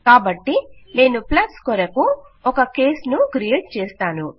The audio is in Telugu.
కాబట్టి నేను ప్లస్కొరకు ఒక కేస్ ను క్రియేట్ చేసాను